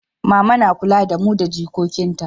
mama na kula da mu da jikokin ta